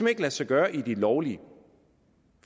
ikke lade sig gøre i de lovlige